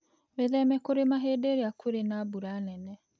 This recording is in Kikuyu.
Wĩtheme kũrĩma hĩndĩ ĩrĩa kũrĩ na mbura nene.